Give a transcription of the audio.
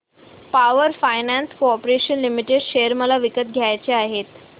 power finance corporation limited share मला विकत घ्यायचे आहेत